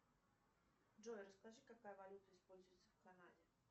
джой расскажи какая валюта используется в канаде